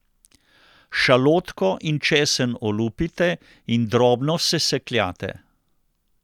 Šalotko in česen olupite in drobno sesekljate.